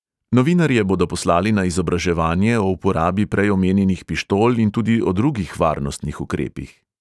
Novinarje bodo poslali na izobraževanje o uporabi prej omenjenih pištol in tudi o drugih varnostnih ukrepih.